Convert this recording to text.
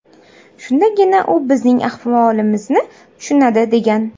Shundagina u bizning ahvolimizni tushunadi”, degan.